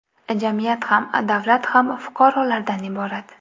Jamiyat ham, davlat ham fuqarolardan iborat.